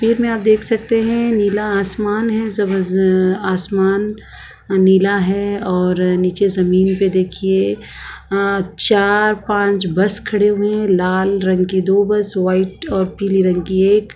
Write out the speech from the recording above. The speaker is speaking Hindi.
तस्वीर में आप देख सकते है नीला आसमान है जबज आसमान नीला है और नीचे जमीन पे देखिये अ चार पांच बस खड़े हुए है लाल रंग की दो बस वाइट और पीले रंग की एक--